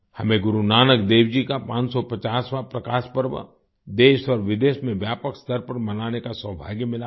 हमें गुरु नानकदेव जी का 550वाँ प्रकाश पर्व देश और विदेश में व्यापक स्तर पर मनाने का सौभाग्य मिला था